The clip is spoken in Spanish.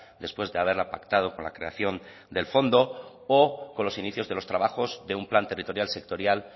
después de haberla pactado con la creación del fondo o con los inicios de los trabajos de un plan territorial sectorial